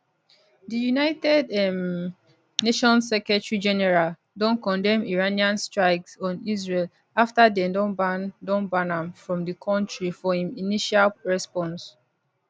di united um nations secretary general don condemn iranian strikes on israel afta dem don ban don ban am from di kontri for im initial response